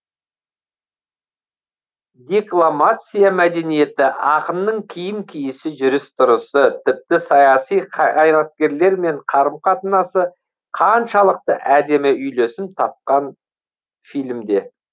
декламация мәдениеті ақынның киім киісі жүріс тұрысы тіпті саяси қайраткерлермен қарым қатынасы қаншалықты әдемі үйлесім тапқан фильмде